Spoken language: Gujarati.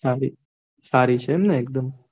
સારી સારી છે એમ ને એકદમ